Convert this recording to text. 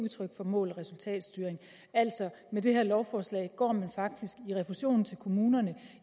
udtryk for mål og resultatstyring med det her lovforslag går man faktisk refusionen til kommunerne